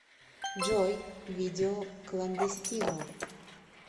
джой видео кландестино